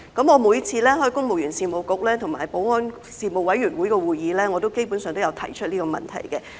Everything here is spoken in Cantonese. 我每次出席公務員事務局和保安事務委員會的會議，基本上都有提出這問題。